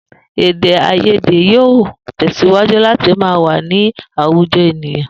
Èdè-àìyédè yóò tè̩sìwájú láti máa wà ní àwùjo̩ ènìyàn